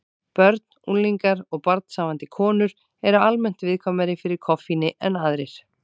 Börn, unglingar og barnshafandi konur eru almennt viðkvæmari fyrir koffíni en aðrir.